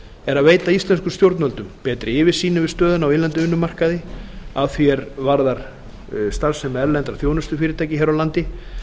er að veita íslenskum stjórnvöldum betri yfirsýn yfir stöðuna á innlendum vinnumarkaði að því er varðar starfsemi erlendra þjónustufyrirtækja hér á landi